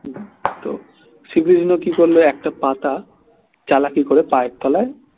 তো শ্রীকৃষ্ণ কি করলো একটা পাতা চালাকি করে পায়ের তলায়